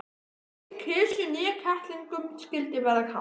Hvorki kisu né kettlingunum skyldi verða kalt.